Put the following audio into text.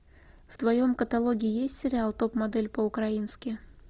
в твоем каталоге есть сериал топ модель по украински